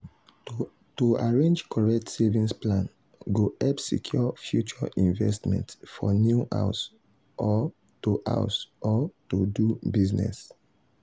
to arrange correct savings plan go help secure future investments for new house or to house or to do business.